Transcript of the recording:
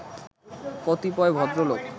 কতিপয় ভদ্রলোক